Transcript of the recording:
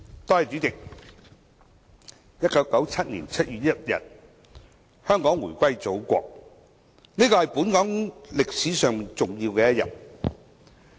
代理主席 ，1997 年7月1日，香港回歸祖國，這是本港歷史上重要的一天。